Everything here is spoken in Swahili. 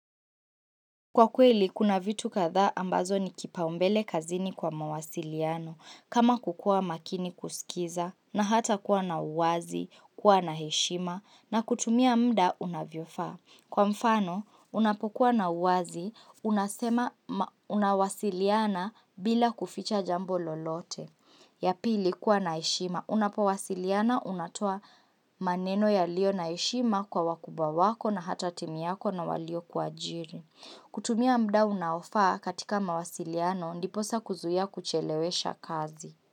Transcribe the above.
Kwa kweli, kuna vitu katha ambazo ni kipaumbele kazini kwa mawasiliano, kama kukua makini kusikiza, na hata kuwa na uwazi, kuwa na heshima, na kutumia mda unavyofaa. Kwa mfano, unapokuwa na uwazi, unasema unawasiliana bila kuficha jambo lolote, ya pili kuwa na heshima. Unapowasiliana, unatoa maneno ya lio na heshima kwa wakuba wako na hata timi yako na walio kuajiri. Kutumia mda unaofaa katika mawasiliano ndiposa kuzuia kuchelewesha kazi.